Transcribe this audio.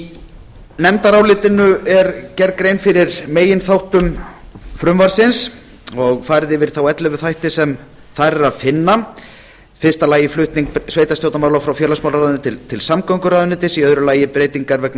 í nefndarálitinu er gerð grein fyrir meginþáttum frumvarpsins og farið yfir þá ellefu þætti sem þar er að finna í fyrsta lagi flutning sveitarstjórnarmála frá félagsmálaráðuneyti til samgönguráðuneytis í öðru lagi breytingar vegna